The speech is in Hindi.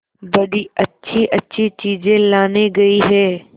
बड़ी अच्छीअच्छी चीजें लाने गई है